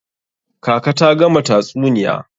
Kaka ta gama tatsuniya.